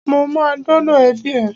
Mo ma dọ́dọ̀ ẹbí ẹ.